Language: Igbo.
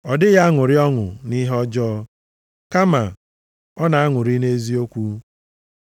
Ọ dịghị aṅụrị ọṅụ nʼihe ọjọọ, kama ọ na-aṅụrị nʼeziokwu.